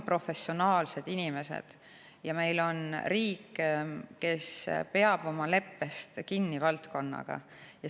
Meil on professionaalsed inimesed ja meil on riik, kes peab oma leppest valdkonnaga kinni.